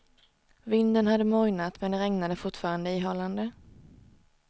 Vinden hade mojnat, men det regnade fortfarande ihållande.